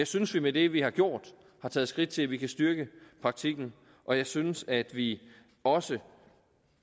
synes vi med det vi har gjort har taget skridt til at vi kan styrke praktikken og jeg synes at vi også